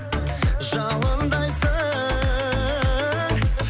жалындайсың